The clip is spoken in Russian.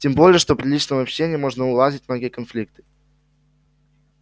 тем более что при личном общении можно уладить многие конфликты